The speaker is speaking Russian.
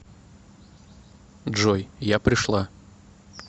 джой я пришла